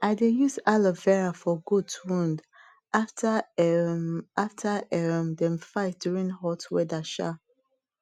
i dey use aloe vera for goat wound after um after um dem fight during hot weather um